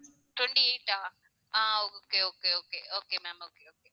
twenty eight ah ah okay okay okay okay ma'am okay okay